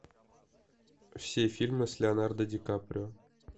все фильмы с леонардо ди каприо